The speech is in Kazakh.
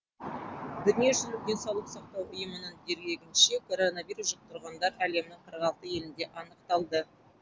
дүниежүзілік денсаулық сақтау ұйымының дерегінше коронавирус жұқтырғандар әлемнің қырық алты елінде анықталды